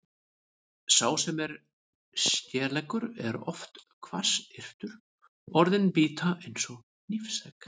Sá sem er skeleggur er oft hvassyrtur, orðin bíta eins og hnífsegg.